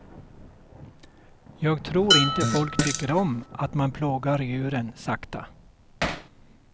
Jag tror inte folk tycker om att man plågar djuren sakta.